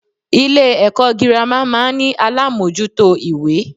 Ilé èkó girama máa n ní alámójútó ìwé